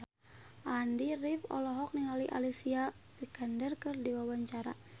Andy rif olohok ningali Alicia Vikander keur diwawancara